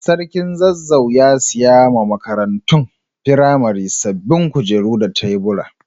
Sarkin Zazzau ya siya ma makarantun firamare sabobin kujeru da taburi.